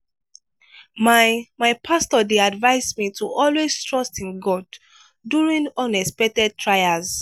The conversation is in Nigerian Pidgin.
my my pastor dey advise me to always trust in god during unexpected trials.